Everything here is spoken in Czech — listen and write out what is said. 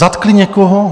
Zatkli někoho?